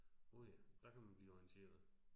Åh ja. Der kan man blive orienteret